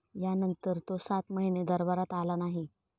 यानंतर तो सात महिने दरबारात आला नाही.